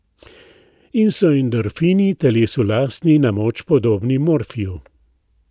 In so endorfini, telesu lastni, na moč podobni morfiju.